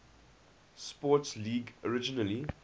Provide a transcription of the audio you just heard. sports league originally